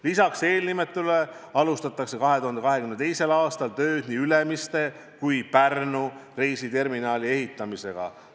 Lisaks eelnimetatule alustatakse 2022. aastal tööd nii Ülemiste kui ka Pärnu reisiterminali ehitamise kallal.